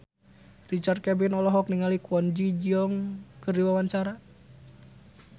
Richard Kevin olohok ningali Kwon Ji Yong keur diwawancara